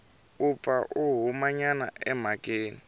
u pfa a humanyana emhakeni